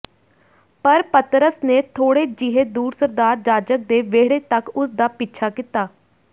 ਪਰ ਪਤਰਸ ਨੇ ਥੋੜ੍ਹੇ ਜਿਹੇ ਦੂਰ ਸਰਦਾਰ ਜਾਜਕ ਦੇ ਵਿਹੜੇ ਤਕ ਉਸ ਦਾ ਪਿੱਛਾ ਕੀਤਾ